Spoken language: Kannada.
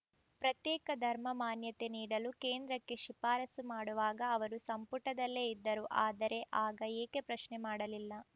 ಪ್ರತ್ಯೇಕ ಧರ್ಮ ಮಾನ್ಯತೆ ನೀಡಲು ಕೇಂದ್ರಕ್ಕೆ ಶಿಫಾರಸು ಮಾಡುವಾಗ ಅವರು ಸಂಪುಟದಲ್ಲೇ ಇದ್ದರು ಆದರೆ ಆಗ ಏಕೆ ಪ್ರಶ್ನೆ ಮಾಡಲಿಲ್ಲ